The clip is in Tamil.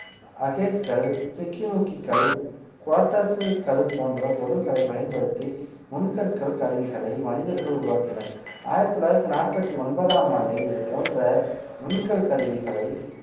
அகேட் கல் சிக்கிமுக்கி கல் குவாட்டசு கல் போன்ற பொருட்களை பயன்படுத்தி நுண்கற்கள் கருவிகளை மனிதர்கள் உருவாக்கினர் ஆயிரத்தி தொள்ளாயிரத்தி நாற்பத்தி ஒன்பதாம் ஆண்டில் இது போன்ற நுண்கல் கருவிகளை